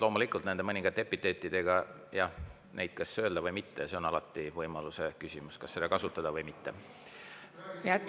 Loomulikult, kas mõningaid epiteete öelda või mitte – alati on küsimus, kas seda võimalust kasutada või mitte.